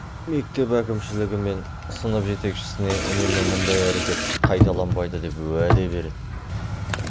мектеп әкімшілігі мен сынып жетекшісіне үнемі мұндай әрекет қайталанбайды деп уәде береді